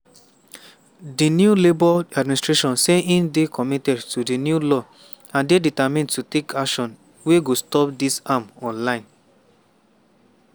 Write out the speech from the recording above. di new labour administration say e dey committed to di new law and "dey determined to take action wey go stop dis harm online".